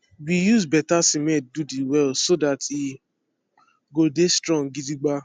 we use better siment do de well so that he go dey strong gidigba